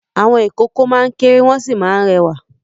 Àwọn ìkókó máa ń kéré wọ́n sì máa ń rẹwà.